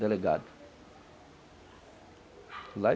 Delegado.